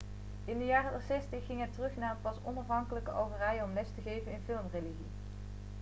in de jaren 60 ging hij terug naar het pas onafhankelijke algerije om les te geven in filmregie